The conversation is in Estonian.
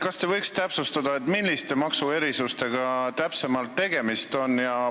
Kas te võite täpsustada, milliste maksuerisustega täpsemalt tegemist on?